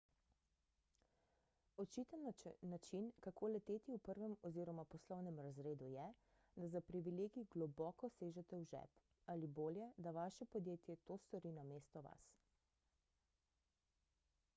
očiten način kako leteti v prvem oziroma poslovnem razredu je da za privilegij globoko sežete v žep ali bolje da vaše podjetje to stori namesto vas